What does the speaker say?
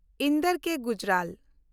ᱤᱱᱫᱚᱨ ᱠᱮ. ᱜᱩᱡᱽᱨᱟᱞ